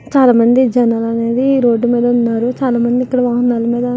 చాలామంది జనాలు రోడ్డు మీద ఉన్నారు. చాలామంది --